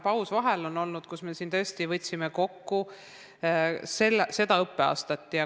Kui ma ei eksi, siis oli mõnepäevane paus info jagamisel.